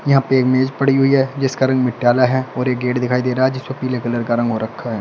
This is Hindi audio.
यहाँ पे एक मेज़ पड़ी हुई है जिसका रंग मटियाला है और एक गेट दिखाई दे रहा है जिसपे पीले कलर का रंग हो रखा है।